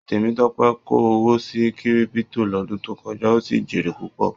Temitope ko owó sí Kírípútò l'ọdun to kọjá, o sí jere púpọ.